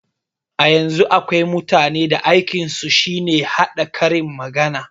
A yanzun akwai mutanen da aikin su shine haɗa karin magana